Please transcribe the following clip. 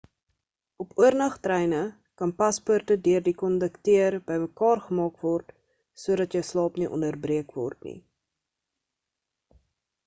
op oornag treine kan paspoorte deur die kondukteur bymekaar gemaak word sodat jou slaap nie onderbreek word nie